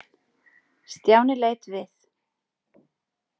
Stjáni leit við.